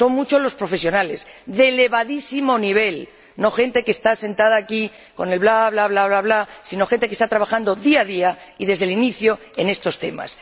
Son muchos los profesionales de elevadísimo nivel, no gente que está sentada aquí con el bla, bla, bla, bla, bla, sino gente que está trabajando día a día y desde el inicio en estos temas.